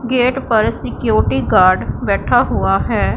Gate पर security guard बैठा हुआ है।